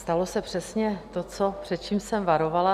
Stalo se přesně to, před čím jsem varovala.